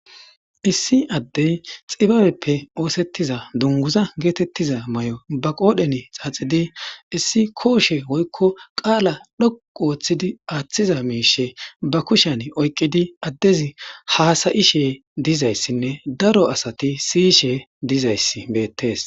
issi addey xibabeppe oosettiza dunguza geetettiza may7o ba qoodhen xaaxidi issi kooshe woykko qaala dhoqu ooththidi aaththiza miishe ba kushan oyqqidi addezi haasayishe dizayssinne daro asati siyishe dizayss beettes